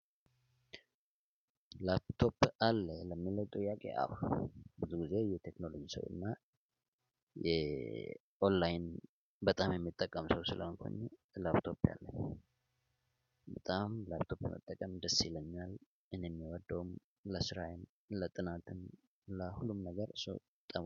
ላፕቶፕ አለ ለሚለው ጥያቄ ብዙ ጊዜ የቴክኖሎጂ ሰው እና የኦንላይን በጣም የሚጠቀም ሰው ስለሆንኩኝ ላፕቶፕ አለኝ። በጣም ላንቶፕ መጠቀም ደስ ይለኛል እኔም የምወደውም ለስራዬም ለጥናትም ለሁሉም ነገር እሱ።